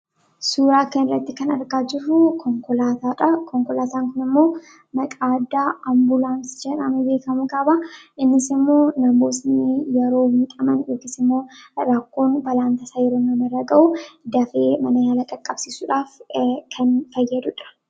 Suuraa kanarratti kan argaa jirruu konkolaataadhaa. Konkolaataan kun immoo maqaan addaa ambulaansii jedhamee beekkamu qaba, innisimmoo namootni yeroo miidhaman yookis immoo rakkoon balaan tasaa uummamu yoo ta'u, dafee mana yaalaa qaqqabsiisuudhaaf ee kan fayyadudha.